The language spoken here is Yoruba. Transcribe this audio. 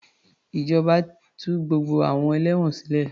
Ìjọba tú gbogbo àwọn ẹlẹ́wọ̀n sile